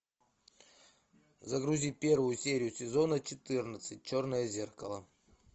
загрузи первую серию сезона четырнадцать черное зеркало